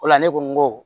O la ne ko n ko